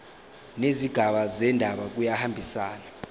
nezigaba zendaba kuyahambisana